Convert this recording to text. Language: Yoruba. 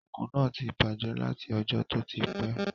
Òògùn náà ti bàjẹ́ láti ọjọ́ tó ti pẹ́